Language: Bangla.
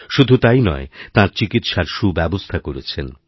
শুধু তাই নয় তাঁর চিকিৎসার সুব্যবস্থা করেছেন